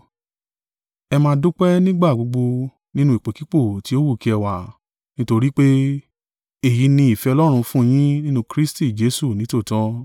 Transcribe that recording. Ẹ máa dúpẹ́ nígbà gbogbo nínú ipòkípò tí o wù kí ẹ wà; nítorí pé, èyí ni ìfẹ́ Ọlọ́run fún yin nínú Kristi Jesu nítòótọ́.